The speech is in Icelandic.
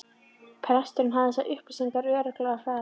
Presturinn hafði þessar upplýsingar örugglega á hrað